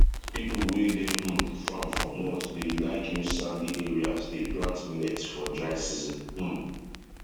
people wey dey um farm for north dey like use sandy areas dey plant millet for dry season um